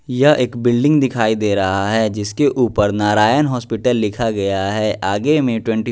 यह एक बिल्डिंग दिखाई दे रहा है जिसके ऊपर नारायण हॉस्पिटल लिखा गया है आगे में ट्वेंटी --